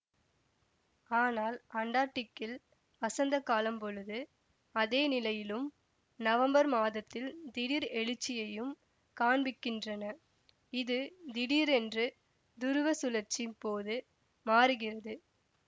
ஆனால் அண்டார்க்டிக்கில் வசந்த காலம் பொழுது அதே நிலையிலும் நவம்பர் மாதத்தில் திடீர் எழுச்சியையும் காண்பிக்கின்றனஇது திடீர் என்று துருவ சுழர்ச்சி போது மாறுகிறது